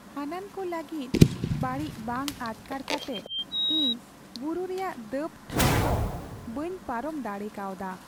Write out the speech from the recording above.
ᱦᱟᱹᱱᱟᱱ ᱠᱚ ᱞᱟᱹᱜᱤᱫ ᱵᱟᱹᱲᱤᱡ ᱵᱟᱝ ᱟᱴᱠᱟᱨ ᱠᱟᱛᱮ ᱤᱧ ᱵᱩᱨᱩ ᱨᱮᱭᱟᱜ ᱫᱟᱹᱵᱽᱴᱷᱟᱶ ᱫᱚ ᱵᱟᱹᱧ ᱯᱟᱨᱚᱢ ᱫᱟᱲᱮ ᱠᱟᱣᱫᱟ ᱾